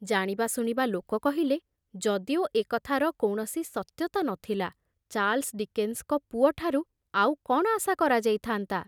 ଜାଣିବା ଶୁଣିବା ଲୋକ କହିଲେ, ଯଦିଓ ଏକଥାର କୌଣସି ସତ୍ୟତା ନ ଥିଲା, ଚାର୍ଲସ ଡିକେନ୍ସଙ୍କ ପୁଅଠାରୁ ଆଉ କଣ ଆଶା କରାଯାଇଥାନ୍ତା?